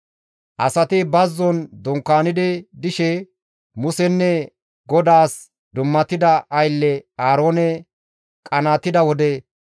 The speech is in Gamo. Asati bazzon dunkaani dishe Musenne GODAAS dummatida aylle Aaroone qanaatida wode,